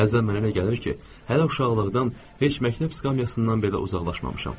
Bəzən mənə elə gəlir ki, hələ uşaqlıqdan heç məktəb sikamyasından belə uzaqlaşmamışam.